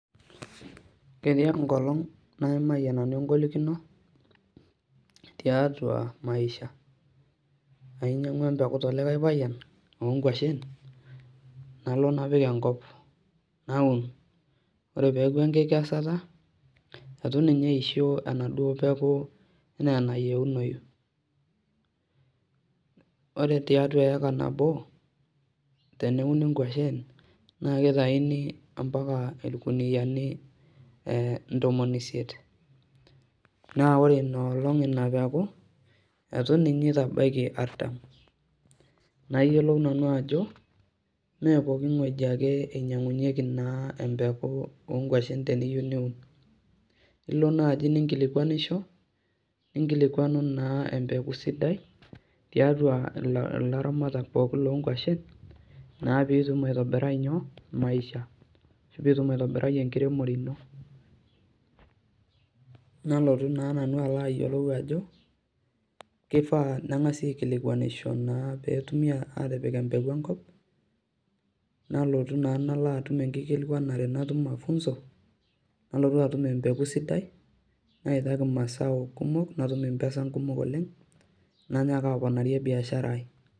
Ketii enkolong naimayie nanu engolikino tiatua maisha, ainyiangwa empeku telikae payian , onkwashen nalo napik enkop , naun ore peku enkikesata , itu ninye eisho enaduo peku enaa enayieunoyu, ore tiatua eika nabo teneuni nkawashen naa kitaini ampaka irkuniani ee ntomoni isiet , naa ore inaolong ina peku , eitu ninye itabaiki aratam , nayiolou nanu ajo , mmee poki wueji naa inyangunyieki empeku onkwashen teniyieu niun , ilo naji nikilikwanisho, ninkilikwano naa empeku sidai tiatua ilaramatak pookin lonkwashen naa pitum aitobirai inyoo, maisha , ashu pitum enkiremore ino . Nalotu naa nanu alo ayiolou ajo kifaa nengasi aikilkwanisho naa petumi atipik empeku enkop, nalotu naa nalaatum enkilikwanare natum mafunzo, nalotu empeku sidai , naitaki mazao kumok , natum impesan kumok oleng nanyaka aponarie biashara ai.